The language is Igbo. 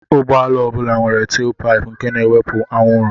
Ụgbọala ọ bụla nwere telpaịpụ nke na-ewepụ anwụrụ.